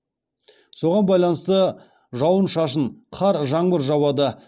соған байланысты жауын шашын жауады